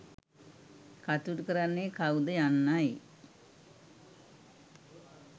කටයුතු කරන්නේ කවුද යන්නයි.